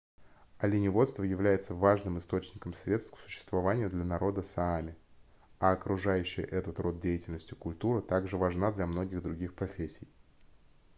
оленеводство является важным источником средств к существованию для народа саами а окружающая этот род деятельности культура также важна для многих других профессий